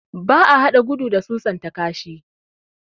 Ba a hada gudu da susan ta kashi